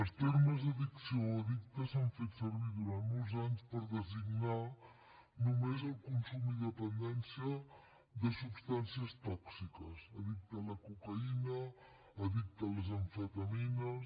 els termes addicció o addicte s’han fet servir durant molts anys per designar només el consum i dependència de substàncies tòxiques addicte a la cocaïna addicte a les amfetamines